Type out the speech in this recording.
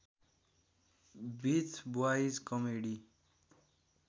with boys comedy